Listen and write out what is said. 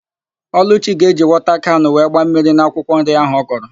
Ọlụchi ga-eji wọta kanụ wee gbaa mmiri n'akwụkwọ nri áhụ̀ ọ kọrọ.